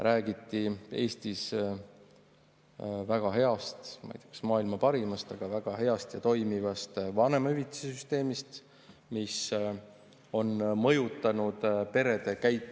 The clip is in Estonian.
Räägiti Eesti väga heast, ma ei tea, kas maailma parimast, aga väga heast ja toimivast vanemahüvitise süsteemist, mis on mõjutanud perede käitumist.